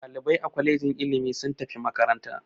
Ɗalibai a kwalejin ilimi sun tafi makaranta.